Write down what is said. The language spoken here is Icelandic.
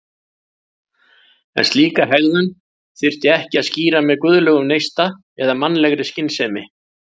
En slíka hegðun þyrfti ekki að skýra með guðlegum neista eða mannlegri skynsemi.